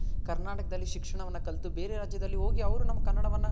ಕರ್ನಾಟಕದಲ್ಲಿ ಶಿಕ್ಷಣ ವನ್ನ ಕಲ್ತು ಬೇರೆ ರಾಜ್ಯದಲ್ ಹೋಗಿ ಅವ್ರು ನಮ್ ಕನ್ನಡವನ